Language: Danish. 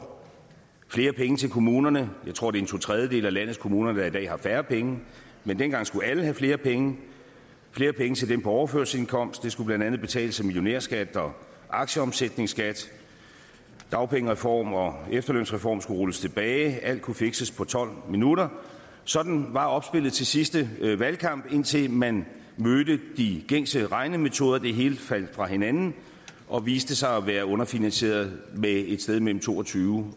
flere penge til kommunerne jeg tror at det er to tredjedele af landets kommuner der i dag har færre penge men dengang skulle alle have flere penge flere penge til dem på overførselsindkomst som blandt andet skulle betales af millionærskat og aktieomsætningsskat dagpengereform og efterlønsreform skulle rulles tilbage og alt kunne fikses på tolv minutter sådan var opspillet til sidste valgkamp indtil man mødte de gængse regnemetoder og det hele faldt fra hinanden og viste sig at være underfinansieret med et sted mellem to og tyve